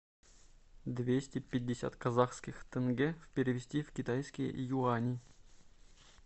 двести пятьдесят казахских тенге перевести в китайские юани